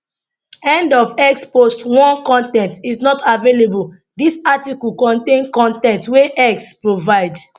end of x post 1 con ten t is not available dis article contain con ten t wey x provide